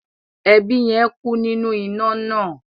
Ẹbí yẹn ku ninu ina naa.